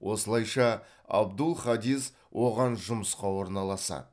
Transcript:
осылайша абдул хадис оған жұмысқа орналасады